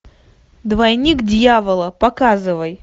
двойник дьявола показывай